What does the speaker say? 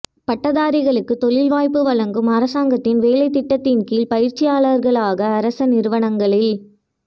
பட்டதாரிகளுக்கு தொழில்வாய்ப்பு வழங்கும் அரசாங்கத்தின் வேலைத்திட்டத்தின் கீழ் பயிற்சியாளர்களாக அரச நிறுவனங்களில்